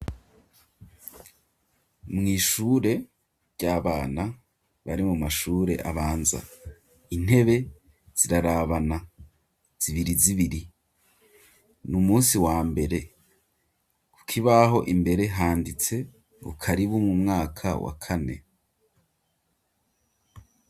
Mw'ishure ry'abana bari mu mashure abanza intebe zirarabana zibiri zibiri n'umusi wa mbere kuki baho imbere handitse karibu mu mwaka wa kane.